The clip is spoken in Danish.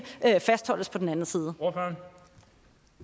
fastholdes på den anden side